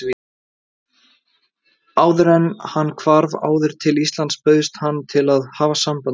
Áðuren hann hvarf aftur til Íslands bauðst hann til að hafa samband við